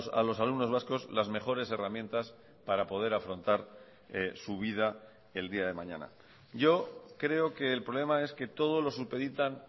a los alumnos vascos las mejores herramientas para poder afrontar su vida el día de mañana yo creo que el problema es que todo lo supeditan